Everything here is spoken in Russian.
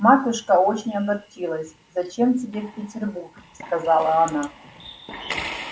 матушка очень огорчилась зачем тебе в петербург сказала она